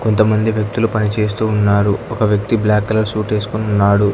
కొంతమంది వ్యక్తులు పనిచేస్తూ ఉన్నారు ఒక వ్యక్తి బ్లాక్ కలర్ షూట్ వేసుకొని ఉన్నాడు.